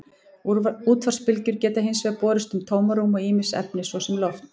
Útvarpsbylgjur geta hins vegar borist um tómarúm og ýmis efni, svo sem loft.